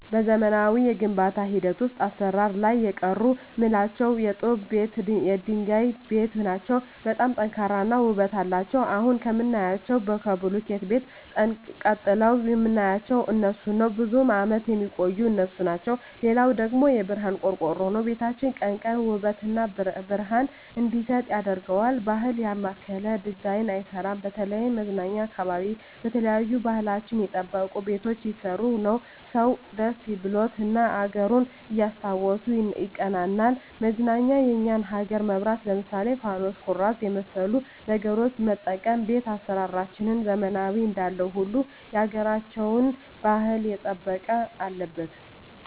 በዘመናዊ የግንባታ ሂደት ውሰጥ አሰራር ላይ የቀሩ ምላቸው የጡብ ቤት የድንጋይ ቤት ናቸው በጣም ጠንካራ እና ውበት አለቸው አሁን ከምናያቸው ከቡልኪት ቤት ጠንቅረዉ ምናያቸው እነሡን ነው ብዙም አመት የሚቆዩ እነሡ ናቸው ሌላው ደግሞ የብረሀን ቆርቆሮ ነው ቤታችን ቀን ቀን ውበት እና ብረሀን እንዲሰጥ ያረገዋል ባህል ያማከለ ዲዛይን አይሰራም በተለይም መዝናኛ አካባቢ የተለያዩ ባህልችን የጠበቁ ቤቶች ቢሰሩ ሰው ደስ ብሎት እና አገሩን እያስታወሱ ይቀናናል መዝናኛ የኛን አገር መብራት ለምሳሌ ፋኑስ ኩራዝ የመሠሉ ነገሮች መጠቀም ቤት አሰራራችንን ዘመናዊ እንዳለው ሁሉ ያገራቸውን ባህል የጠበቀ አለበት